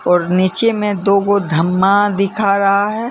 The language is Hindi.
और नीचे में दो वो धम्मा दिखा रहा है।